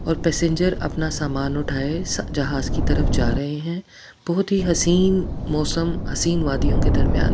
और पैसेंजर अपना सामान उठाए जहाज की तरफ जा रहे हैं बहुत ही हसीन मौसम हसीन वादियों के दरमियान--